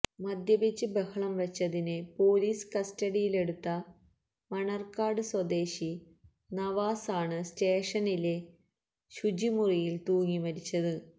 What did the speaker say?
മദ്യപിച്ച് ബഹളം വച്ചതിന് പൊലീസ് കസ്റ്റഡിയിലെടുത്ത മണർകാട് സ്വദേശി നവാസ് ആണ് സ്റ്റേഷനിലെ ശുചി മുറിയിൽ തൂങ്ങി മരിച്ചത്